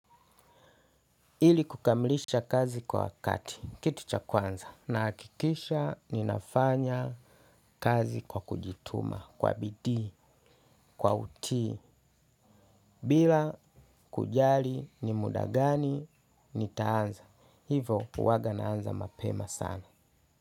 Ili kukamilisha kazi kwa wakati, kitu cha kwanza, na hakikisha ninafanya kazi kwa kujituma, kwa bidi, kwa utii, bila kujali ni muda gani nitaanza. Hivo uwaga naanza mapema sana.